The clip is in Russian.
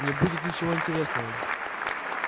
не будет ничего интересного